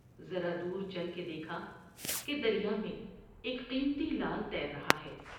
ذرا دور چل کے دیکھا کہ دریا میں ایک قیمتی لعل تیر رہا ہے ۔